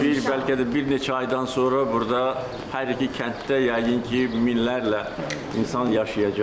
İndi bir, bəlkə də bir neçə aydan sonra burda hər iki kənddə yəqin ki, minlərlə insan yaşayacaq.